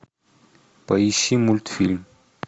поищи мультфильм